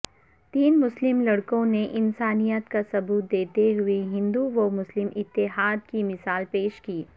تین مسلم لڑکوں نے انسانیت کا ثبوت دیتے ہوئے ہندومسلم اتحاد کی مثال پیش کی